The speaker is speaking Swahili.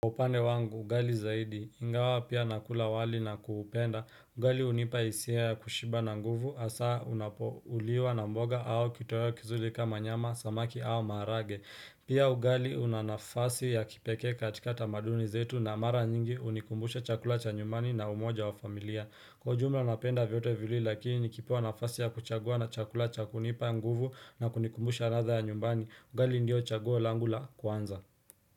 Upande wangu, ugali zaidi, ingawa pia nakula wali na kuupenda, ugali unipa hisia ya kushiba na nguvu, asaa unapouliwa na mboga au kitoweo kizuli kama nyama, samaki au maharage Pia ugali una nafasi ya kipeke katika tamaduni zetu na mara nyingi unikumbusha chakula cha nyumbani na umoja wa familia Kwa ujumla napenda vyote viwili lakini kipewa unafasi ya kuchagua na chakula cha kunipa nguvu na kunikumbushe ladha ya nyumbani, ugali ndio chaguo langu la kuanza.